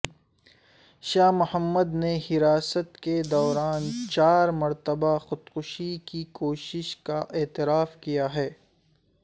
شاہ محمد نے حراست کے دوران چار مرتبہ خودکشی کی کوشش کا اعتراف کیا ہے